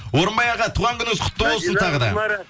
орынбай аға туған күніңіз құтты болсын тағы да